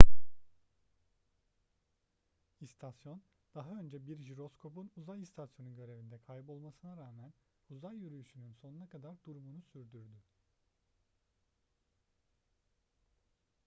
i̇stasyon daha önce bir jiroskopun uzay istasyonu görevinde kaybolmasına rağmen uzay yürüyüşünün sonuna kadar durumunu sürdürdü